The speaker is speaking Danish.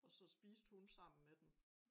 Og så spiste hun sammen med dem